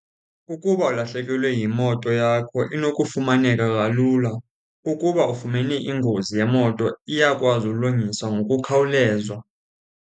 Ukuba ulahlekelwe yimoto yakho inokufumaneka kalula. Ukuba ufumene ingozi yemoto iyakwazi ulungiswa ngokukhawuleza.